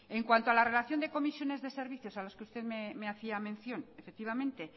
en cuanto a la relación de comisiones de servicios a los que usted me hacía mención efectivamente